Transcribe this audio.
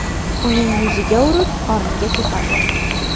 Uning yuziga urib, qorniga tepadi.